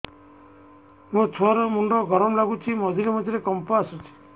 ମୋ ଛୁଆ ର ମୁଣ୍ଡ ଗରମ ଲାଗୁଚି ମଝିରେ ମଝିରେ କମ୍ପ ଆସୁଛି